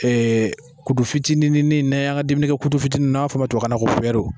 Ee kutu fitinin ne y'an ka dumunikɛ kutu fitinin n'a b'a fɔ o ma tubabukan na ko